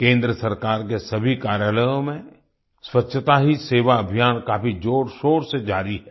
केंद्र सरकार के सभी कार्यालयों में स्वच्छता ही सेवा अभियान काफी जोरशोर से जारी है